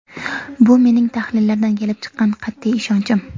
Bu mening tahlillardan kelib chiqqan qat’iy ishonchim.